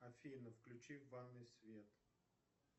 афина включи в ванной свет